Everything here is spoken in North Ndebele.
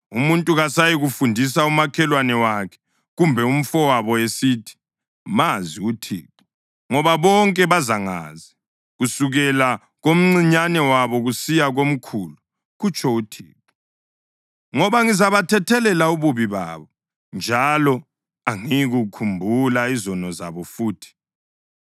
Umuntu kasayikufundisa umakhelwane wakhe, kumbe umfowabo esithi, ‘Mazi uThixo,’ ngoba bonke bazangazi, kusukela komncinyane wabo kusiya komkhulu, kutsho uThixo. Ngoba ngizabathethelela ububi babo, njalo angiyikukhumbula izono zabo futhi.”